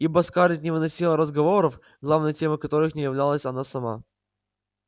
ибо скарлетт не выносила разговоров главной темой которых не являлась она сама